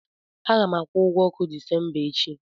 A ga m akwụ ụgwọ ọkụ Disemba echi.